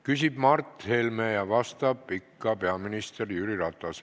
Küsib Mart Helme ja vastab ikka peaminister Jüri Ratas.